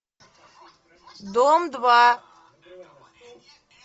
дом два